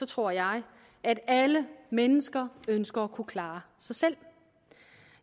tror jeg at alle mennesker ønsker at kunne klare sig selv